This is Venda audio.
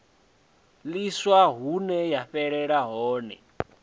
ḽiswa hune ya fhelela hone